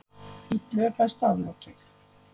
Illu er best aflokið.